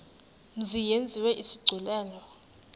mzi yenziwe isigculelo